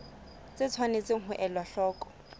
tse tshwanetseng ho elwa hloko